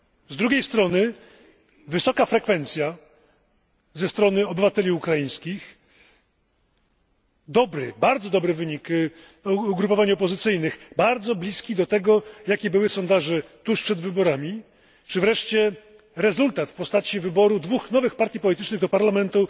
Z drugiej strony, wysoka frekwencja ze strony obywateli ukraińskich, dobry, a nawet bardzo dobry wynik ugrupowań opozycyjnych, bardzo bliski do tego, co wskazywały sondaże tuż przed wyborami, czy wreszcie rezultat w postaci wyboru dwóch nowych partii politycznych do parlamentu